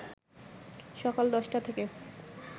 সকাল ১০টা থেকে